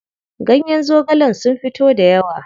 Ganyen zogalen sun fito dayawa.